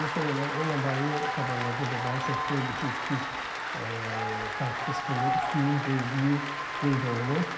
Yeri gəlmişkən elə onunla bağlı xəbərlərdə də daha çox 4-2-3-1 taktiki sxemə üstünlük verdiyi qeyd olunur.